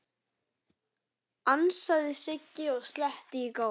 ansaði Siggi og sletti í góm.